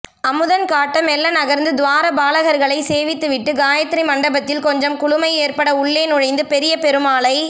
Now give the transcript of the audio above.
அமுதன் காட்ட மெல்ல நகர்ந்து துவாரபாலகர்களை சேவித்துவிட்டுக் காயத்திரி மண்டபத்தில் கொஞ்சம் குளுமை ஏற்பட உள்ளே நுழைந்து பெரிய பெருமாளை